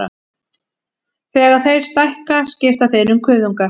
Þegar þeir stækka skipta þeir um kuðunga.